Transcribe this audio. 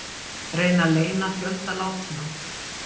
Reyna að leyna fjölda látinna